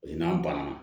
O ye n'an banana